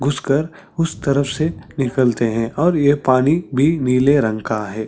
घुस कर उस तरफ से निकलते है और यह पानी भी नीले रंग का हैं ।